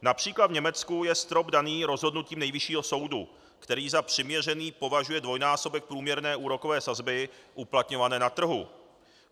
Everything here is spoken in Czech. Například v Německu je strop daný rozhodnutím nejvyššího soudu, který za přiměřený považuje dvojnásobek průměrné úrokové sazby uplatňované na trhu.